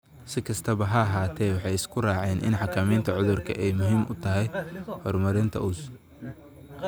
Si kastaba ha ahaatee, waxay isku raaceen in xakamaynta cudurku ay muhiim u tahay horumarinta uz